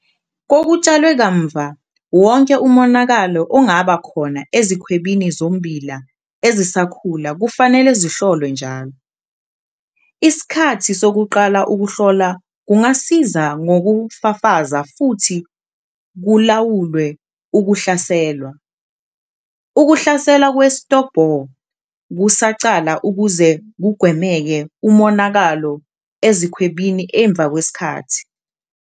Kokutshalwe kamuva wonke omonakalo ongaba khona ezikhwebini zommbila ezisakhula kufanele zihlolwe njalo. Isikhathi sokuqala ukuhlola kungasiza ngokufafaza futhi kulawulwe ukuhlaselwa ukuhlasela kwe-stalk bore kusaqala ukuze kugwemeke umonakalo ezikhwebini emva kwesikhathi.